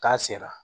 K'a sera